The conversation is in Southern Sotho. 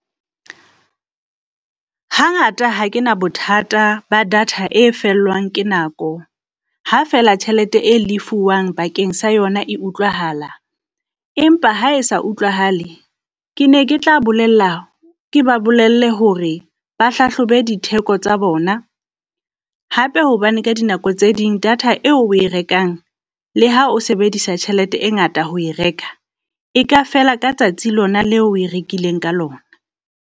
Hangata ha ke na bothata ba data e fellwang ke nako, ha feela tjhelete e lefuwang bakeng sa yona e utlwahala. Empa ha e sa utlwahale, ke ne ke tla bolella ke ba bolelle hore ba hlahlobe ditheko tsa bona. Hape hobane ka dinako tse ding data eo o e rekang le ha o sebedisa tjhelete e ngata ho e reka, e ka fela ka tsatsi lona le o e rekileng ka lona.